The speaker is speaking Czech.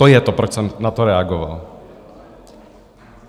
To je to, proč jsem na to reagoval.